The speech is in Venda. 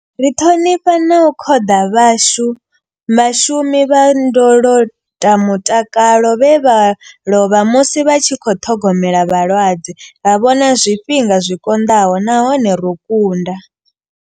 Ri ṱhonifha na u khoḓa vhashumi vha ndolotamutakalo vhe vha lovha musi vha tshi khou ṱhogomela vhalwadze. Ra vhona zwifhinga zwi konḓaho nahone ro kunda.